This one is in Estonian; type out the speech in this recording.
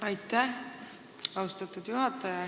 Aitäh, austatud juhataja!